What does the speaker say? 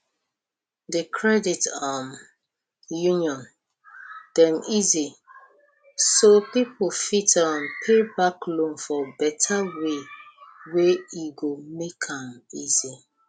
the credit um union dem easy so people fit um pay back loan for better way wey go make am easy